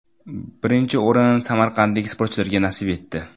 Birinchi o‘rin samarqandlik sportchilarga nasib etdi.